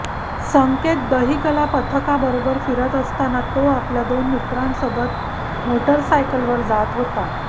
संकेत दहीकाला पथकाबरोबर फिरत असताना तो आपल्या दोन मित्रांसोबत मोटारसायकलवर जात होता